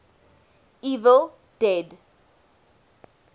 evil dead